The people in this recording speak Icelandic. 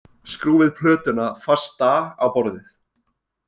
Skrúfið plötuna fasta á borðið